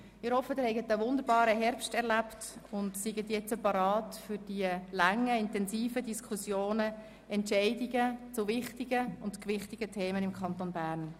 Ich hoffe, Sie haben einen wunderbaren Herbst erlebt und sind nun bereit für die bevorstehenden langen, intensiven Diskussionen und Entscheidungen zu wichtigen und gewichtigen Themen im Kanton Bern.